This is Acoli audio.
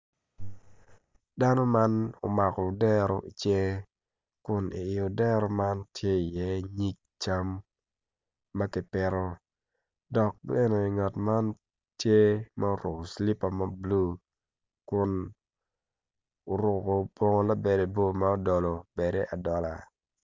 Dano man omako odero i cinge tuk kun winyo man opito tyene aryo odwoko angec winyo man oyaro bome kun tye ka tuk dogwinyo man tye ma oruko bongo labade bor ma odolo adola.